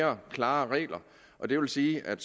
mere klare regler og det vil sige at